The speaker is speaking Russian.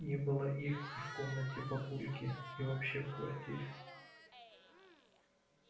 не было их и в комнате папульки и вообще в квартире